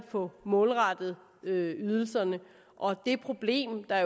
få målrettet ydelserne og det problem der